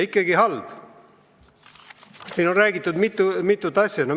Siin on täna räägitud mitut asja.